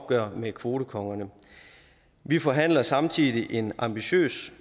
med kvotekongerne vi forhandler samtidig en ambitiøs